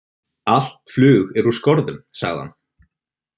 Allt flug er úr skorðum, sagði hann.